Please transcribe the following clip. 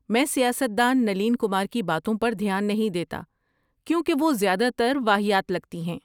میں سیاست دان نلین کمار کی باتوں پر دھیان نہیں دیتا کیونکہ وہ زیادہ تر واہیات لگتی ہیں۔